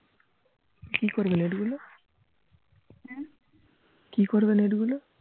কি করবে নেট গুলো কি করবে নেট গুলো